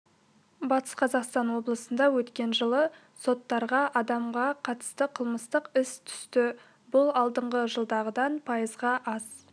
батыс қазақстан облысында өткен жылы соттарға адамға қатысты қылмыстық іс түсті бұл алдыңғы жылғыдан пайызға аз